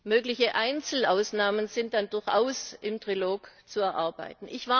Mögliche Einzelausnahmen sind dann durchaus im Trilog zu erarbeiten.